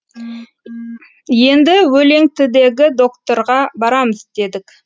енді өлеңтідегі докторға барамыз дедік